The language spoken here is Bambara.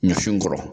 Ɲɔ sin kɔrɔ